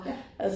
Ja